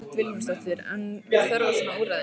Hödd Vilhjálmsdóttir: Er þörf á svona úrræði?